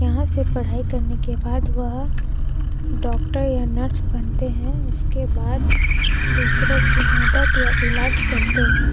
यहाँ से पढ़ाई करने के बाद वह डॉक्टर या नर्स बनते है उसके बाद दूसरों की मदद या इलाज करते हैं।